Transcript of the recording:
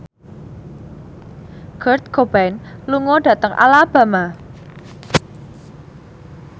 Kurt Cobain lunga dhateng Alabama